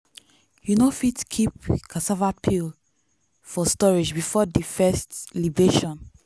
you no fit keep cassava peel for storage before di first libation.